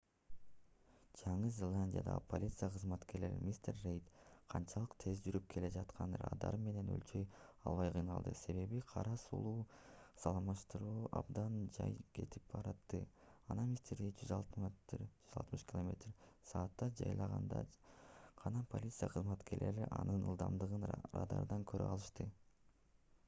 жаңы зеландиядагы полиция кызматкерлери мистер рейд канчалык тез жүрүп келе жатканын радар менен өлчөй албай кыйналды себеби кара сулуу салыштырмалуу абдан жай кетип баратты. анан мистер рейд 160 км/с жайлаганда гана полиция кызматкерлери анын ылдамдыгын радардан көрө алышты